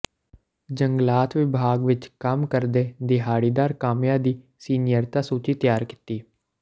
ਜੰਗਲਾਤ ਵਿਭਾਗ ਵਿੱਚ ਕੰਮ ਕਰਦੇ ਦਿਹਾੜੀਦਾਰ ਕਾਮਿਆਂ ਦੀ ਸੀਨੀਅਰਤਾ ਸੂਚੀ ਤਿਆਰ ਕੀਤੀ